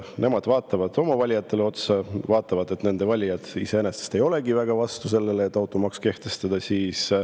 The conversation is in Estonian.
Nemad vaatavad oma valijatele otsa ja näevad, et nende valijad iseenesest ei olegi väga vastu sellele, et automaks kehtestada.